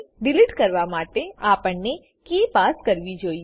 delete કરવા માટે આપણને કી પાસ કરવી જોઈએ